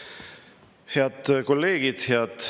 Head kolleegid!